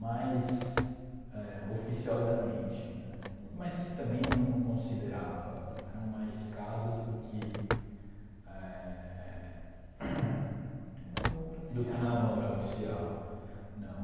mais éh oficiosamente né, mas que também não não considerava, eram mais casos do que éh. Namoro oficial. Do que namoro oficial, não.